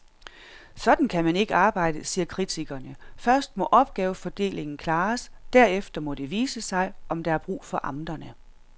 Sådan kan man ikke arbejde, siger kritikerne, først må opgavefordelingen klares, derefter må det vise sig, om der er brug for amterne.